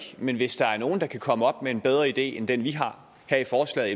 men hvis der er nogen der kan komme op med en bedre idé end den vi har her i forslaget